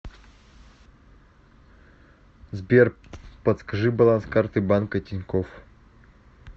сбер подскажи баланс карты банка тинькофф